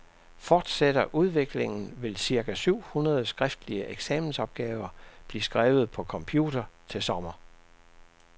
Fortsætter udviklingen, vil cirka syv hundrede skriftlige eksamensopgaver blive skrevet på computer til sommer.